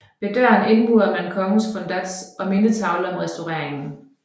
Ved døren indmurede man kongens fundats og en mindetavle om restaureringen